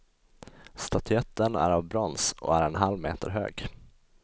Statyetten är av brons och är en halv meter hög.